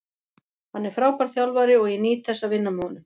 Hann er frábær þjálfari og ég nýt þess að vinna með honum.